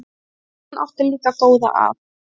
En hún átti líka góða að.